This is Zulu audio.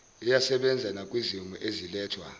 iyasebenza nakwizimo ezilethwa